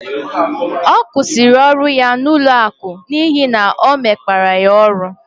Ọ kwụsịrị ọrụ ya n'ụlọaku n'ihi ọ na emekpa ya ọrụ